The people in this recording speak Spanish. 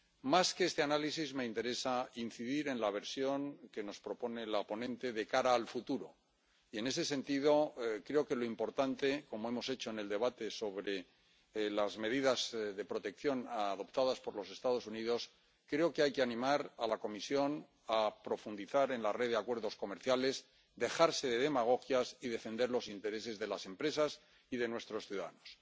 Más que en este análisis, me interesa incidir en la versión que nos propone la ponente de cara al futuro y, en ese sentido, creo que lo importante —como hemos hecho en el debate sobre las medidas de protección adoptadas por los Estados Unidos— es animar a la Comisión a profundizar en la red de acuerdos comerciales, dejarse de demagogias y defender los intereses de las empresas y de nuestros ciudadanos.